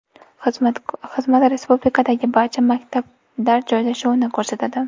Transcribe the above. Xizmat respublikadagi barcha maktablar joylashuvini ko‘rsatadi.